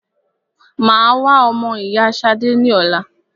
Mà á wá wo ọmọ ìyá Ṣadé ní ọ̀la.